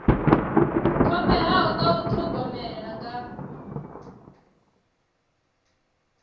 kwameaho nga u thogomela nga